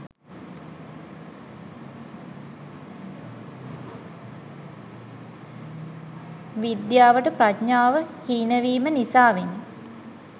විද්‍යාවට ප්‍රඥාව හීනවීම නිසාවෙනි.